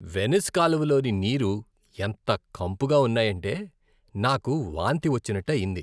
Venice కాలువలలోని నీరు ఎంత కంపుగా ఉన్నాయంటే నాకు వాంతి వచ్చినట్టు అయింది.